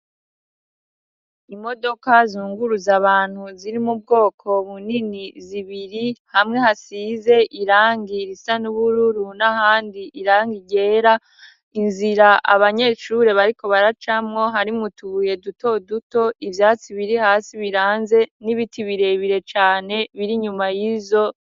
Imodoka zunguruza abantu ziri mubwoko bunini zibiri hamwe hasize irangi risa n'ubururu n'ahandi irang ryera inzira abanyeshure bariko baracamo hari mu tubuye duto duto ivyatsi biri hasi biranze n'ibiti birebire cane biri nyuma y'izo